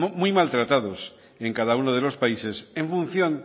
muy mal tratados en cada uno de los países en función